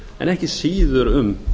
en ekki síður um